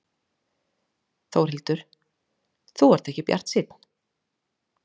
Þórhildur: Þú ert ekki bjartsýnn?